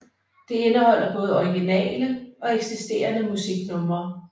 Det indeholder både originale og eksisterende musiknumre